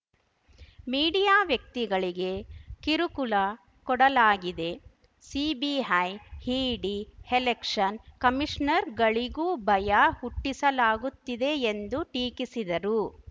media ವ್ಯಕ್ತಿಗಳಿಗೆ ಕಿರುಕುಳ ಕೊಡಲಾಗಿದೆ ಸಿಬಿಐ ಇಡಿ ಎಲೆಕ್ಷನ್‌ ಕಮೀಷ್ನರ್ ಗಳಿಗೂ ಭಯ ಹುಟ್ಟಿಸಲಾಗುತ್ತಿದೆ ಎಂದು ಟೀಕಿಸಿದರು